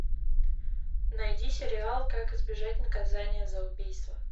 найди сериал как избежать наказания за убийство